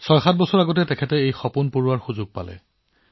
৬৭ বছৰ আগতে তেওঁ আকৌ এবাৰ তেওঁৰ সপোন পূৰণ কৰিবলৈ আৰম্ভ কৰিছিল